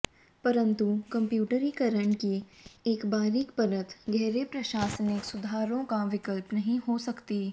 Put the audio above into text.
परंतु कंप्यूटरीकरण की एक बारीक परत गहरे प्रशासनिक सुधारों का विकल्प नहीं हो सकती